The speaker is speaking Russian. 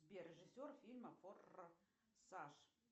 сбер режиссер фильма форсаж